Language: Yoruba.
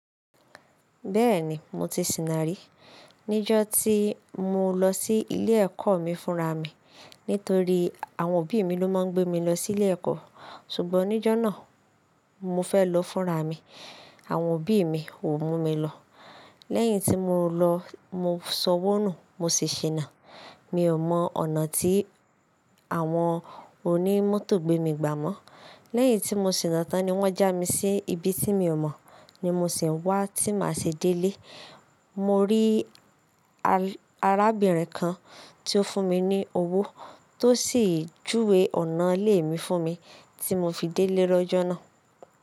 Bẹ́ẹ̀ni mo ti sìnà rí. Níjó tí mo lọ sí ilé ẹ̀kọ́ mi fúnra mi. Nítorí àwọn òbí mi ló máa ń gbé mi lọ sí ilé ẹ̀kọ́. Ṣùgbọ́n níjó náà, mo fẹ́ lọ fúnra mi àwọn òbí mi kò mú mi lọ. Lẹ́yìn tí mo lọ, mo ṣowó nù mo sì ṣìnà. Mi ò mọ ọ̀nà tí àwọn onímótò gbé mi gbà mọ́. Lẹ́yìn tí mo ṣìnà tán ni wọ́n já mi sí ibi tí mi ò mọ̀, ni mo sì ń wá tí màá ṣe délé. Mo rí arábìnrin kan tí ó fún mi ní owó, tó sì júwe ọ̀nà ilé mi fún mi, tí mo fi délé lọ́jọ́ náà.